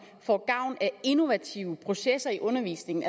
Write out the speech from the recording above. får gavn af innovative processer i undervisningen